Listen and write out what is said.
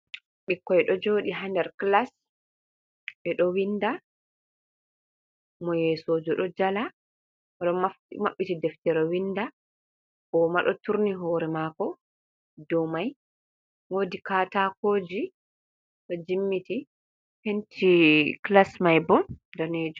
Ɓikkoi ɗo jooɗi ha nder klas, ɓe ɗo winda. Mo yeesojo ɗo jala, o ɗo maɓɓiti deftere winda, o ma ɗo turni hoore maako dou mai, woodi kataakoji ɗo jimmiti. Penti klas mai bo daneejum.